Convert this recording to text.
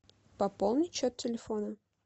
пополнить счет телефона